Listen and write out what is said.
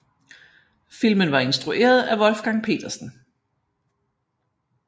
Filmen var instrueret af Wolfgang Petersen